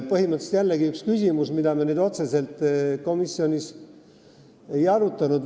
Põhimõtteliselt jällegi üks küsimus, mida me otseselt komisjonis ei arutanud.